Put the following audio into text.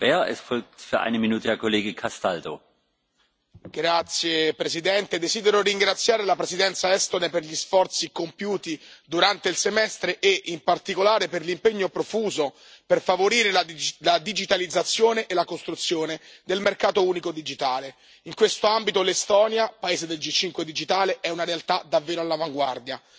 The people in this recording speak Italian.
Signor Presidente, onorevoli colleghi, desidero ringraziare la Presidenza estone per gli sforzi compiuti durante il semestre e, in particolare, per l'impegno profuso per favorire la digitalizzazione e la costruzione del mercato unico digitale. In questo ambito l'Estonia, paese del G5 digitale, è una realtà davvero all'avanguardia.